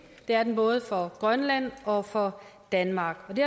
det er den både for grønland og for danmark det